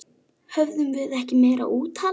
Höfðum við ekki meira úthald?